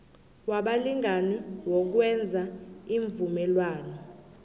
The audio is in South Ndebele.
wabalingani wokwenza iimvumelwano